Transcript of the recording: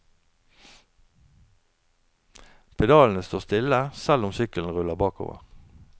Pedalene står stille selv om sykkelen ruller bakover.